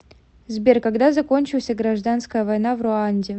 сбер когда закончился гражданская война в руанде